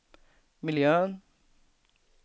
miljön